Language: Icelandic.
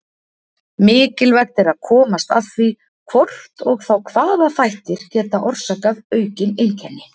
Mikilvægt er að komast að því hvort og þá hvaða þættir geta orsakað aukin einkenni.